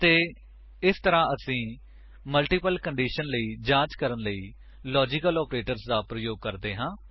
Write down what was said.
ਅਤੇ ਇਸ ਤਰ੍ਹਾਂ ਅਸੀ ਮਲਟੀਪਲ ਕੰਡੀਸ਼ੰਸ ਲਈ ਜਾਂਚ ਕਰਨ ਲਈ ਲਾਜਿਕਲ ਆਪਰੇਟਰਾਂ ਦਾ ਪ੍ਰਯੋਗ ਕਰਦੇ ਹਾਂ